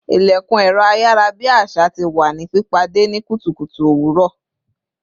İlekun ẹ̀rọ ayarabi àṣà tí wá ní pìpàdé ni kùtùkùtù owuro